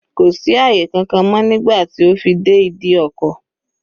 Kò sí àyè kankan mọ́ nígbà tí ó fi dé ìdí ọkọ̀.